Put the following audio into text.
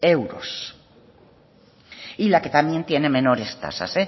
euros y la que también tiene menores tasas